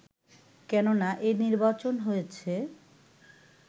কেননা এ নির্বাচন হয়েছে